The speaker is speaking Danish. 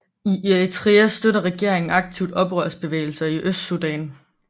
I Eritrea støtter regeringen aktivt oprørsbevægelser i Østsudan